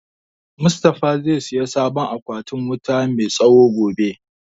Mustafa zai saya sabon akwatin wuta mai tsawo gobe